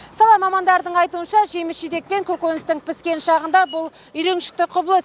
сала мамандарының айтуынша жеміс жидек пен көкөністің піскен шағында бұл үйреншікті құбылыс